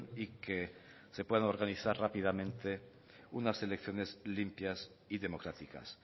y que se puedan organizar rápidamente unas elecciones limpias y democráticas